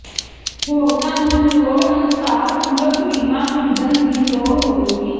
ਹੋਰਨਾਂ ਨੂੰ ਲੋੜ ਅਨੁਸਾਰ ਪੂਰਕ ਬੀਮਾ ਖਰੀਦਣ ਦੀ ਲੋੜ ਹੋਵੇਗੀ